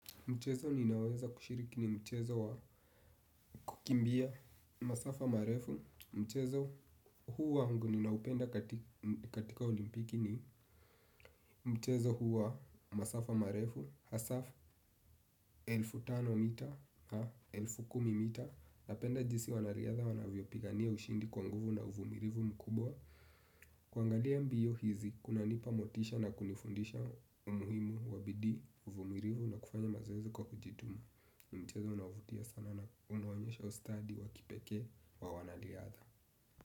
Mchezo ninaoweza kushiriki ni mchezo wa kukimbia masafa marefu. Mchezo huu wangu ninaupenda katika olimpiki ni mchezo huu wa masafa marefu. Hasa elfu tano mita na elfu kumi mita. Napenda jinsi wanariadha wanavyopigania ushindi kwa nguvu na uvumilivu mkubwa. Kuangalia mbio hizi kunanipa motisha na kunifundisha umuhimu wa bidii uvumilivu na kufanya mazoezi kwa kujituma. Mchezo unaovutia sana na unaonyesha ustadi wa kipekee wa wanariadha.